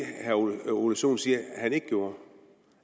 herre ole ole sohn siger at han ikke gjorde